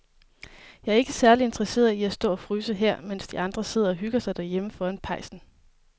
Jeg er ikke særlig interesseret i at stå og fryse her, mens de andre sidder og hygger sig derhjemme foran pejsen.